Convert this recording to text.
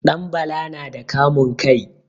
Ɗanbala na da kamun kai.